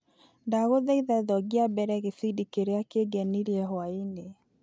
Nagũthaitha thongia mbere gĩbindi kĩrĩa kĩngenirie hwainĩ.